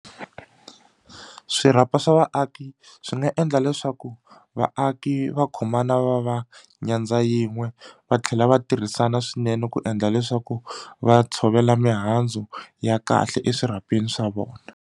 Swirhapa swa vaaki swi nga endla leswaku vaaki va khomana va va nyandza yin'we va tlhela va tirhisana swinene ku endla leswaku va tshovela mihandzu ya kahle eswirhapeni swa vona.